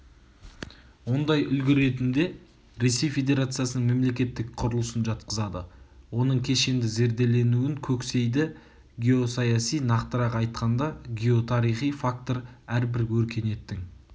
ондай үлгі ретінде ресей федерациясының мемлекеттік құрылысын жатқызады оның кешенді зерделенуін көксейді геосаяси нақтырақ айтқанда геотарихи фактор әрбір өркениеттің